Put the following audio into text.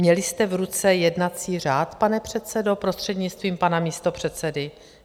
Měli jste v ruce jednací řád, pane předsedo, prostřednictvím pana místopředsedy?